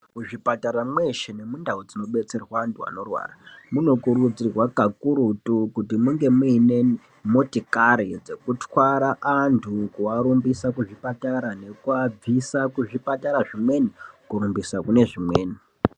Muzvipatara mweshe nemundau dzinobetserwa antu anorwara munokurudzirwa kakurutu kuti munge muine motokari dzekutwara antu kuarumbisa kuzvipatara nekuvabvisa kuzvipatara zvimweni kurumbisa kune zvimweni.